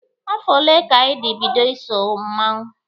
Afọ ole ka ịdị bido iso mmanwụ?